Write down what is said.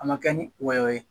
A ma kɛ ni wɔyɔ ye